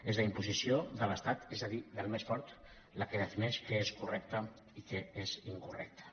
és la imposició de l’estat és a dir del més fort la que defineix què és correcte i què és incorrecte